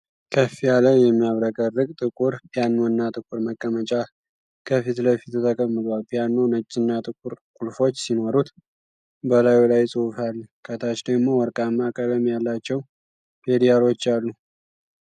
ከፍ ያለ፣ የሚያብረቀርቅ ጥቁር ፒያኖና ጥቁር መቀመጫ ከፊት ለፊቱ ተቀምጧል። ፒያኖው ነጭና ጥቁር ቁልፎች ሲኖሩት፣ በላዩ ላይ ጽሑፍ አለ። ከታች ደግሞ ወርቃማ ቀለም ያላቸው ፔዳሎች አሉ።